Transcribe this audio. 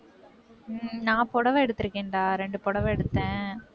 நான் புடவை எடுத்திருக்கேன்டா, இரண்டு புடவை எடுத்தேன்.